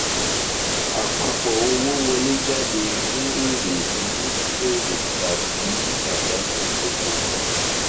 àpapọ owó wọléjáde ni èrè ni èrè tàbí àdánù ìdókòwò